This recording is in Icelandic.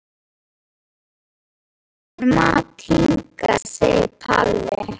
Við getum fært honum mat hingað, segir Palli.